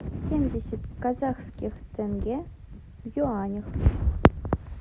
семьдесят казахских тенге в юанях